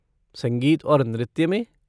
संगीत और नृत्य में?